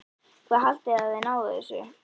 Hvað haldið þið að þið náið þessu?